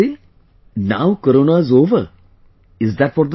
"Now Corona is over" is that what they say